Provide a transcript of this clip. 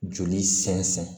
Joli sɛnsɛn